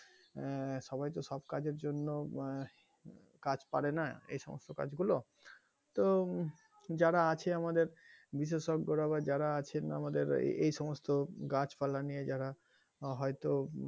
আহ সবাই তো সব কাজের জন্য আহ কাজ পারেনা এই সমস্ত কাজগুলো তো যারা আছে আমাদের বেসেসজ্ঞরা আবার যারা আছেন আমাদের আবার এই গাছ পালা নিয়ে যারা হয়তো,